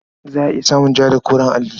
Za a iya samun ja da koren alli.